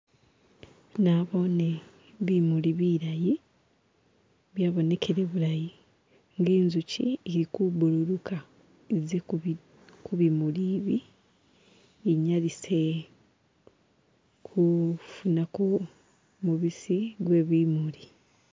Nabone bimuli bilayi, byabonekela bulayi, i'nga izuki eli kubunguluka ize ku'bimuli bi, inyalise kufunako mubisi gwe bimuli